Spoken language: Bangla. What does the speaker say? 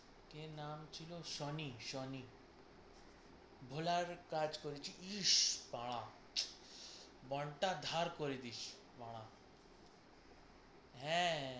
কী নাম ছিল, সনি সনি, ভোলার কাজ করেছে ইস বাড়া! মনটা ধার করে দিস বাড়া। হ্যাঁ।